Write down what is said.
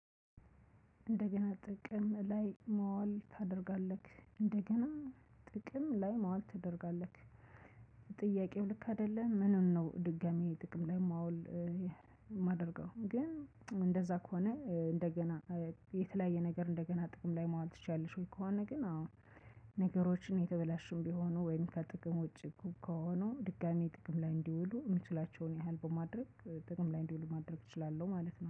እንደገና ጥቅም ላይ መዋል ታደርጋለህ እንደገና ጥቅም ላይ መዋል ታደርጋለክ ጥያቄው ልክ አይደለም ምኑን ነው ድጋሚ ጥቅም ላይ ማዋል የማደረገው? ግን እንደዛ ከሆነ እንደገና የተለያየ ነገር እንደገና ጥቅም ላይ ማዋል ትችያለሽ ከሆነ ግን አሁን ነገሮችን የተበላሽም ቢሆኑ ወይም ከጥቅም ውጪ ከሆኑ ድጋሚ ጥቅም ላይ እንዲውሉ የምችላቸውን ያህል በማድረግ ጥቅም ላይ እንዲውሉ ማድረግ እችላለሁ ማለት ነው